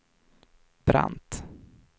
Brandt